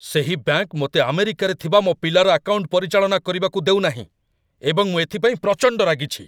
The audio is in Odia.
ସେହି ବ୍ୟାଙ୍କ ମୋତେ ଆମେରିକାରେ ଥିବା ମୋ ପିଲାର ଆକାଉଣ୍ଟ ପରିଚାଳନା କରିବାକୁ ଦେଉ ନାହିଁ, ଏବଂ ମୁଁ ଏଥିପାଇଁ ପ୍ରଚଣ୍ଡ ରାଗିଛି।